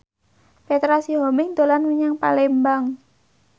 Petra Sihombing dolan menyang Palembang